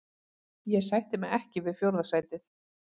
Ég sætti mig ekki við fjórða sætið.